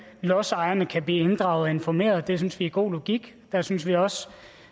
lodsejerne kan blive inddraget og informeret det synes vi er god logik der synes vi også